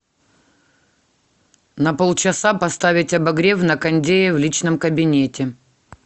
на полчаса поставить обогрев на кондее в личном кабинете